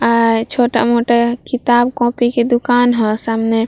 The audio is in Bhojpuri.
आए छोटा-मोटा किताब कॉपी के दुकान ह सामने।